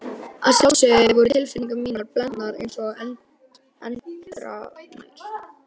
Að sjálfsögðu voru tilfinningar mínar blendnar einsog endranær.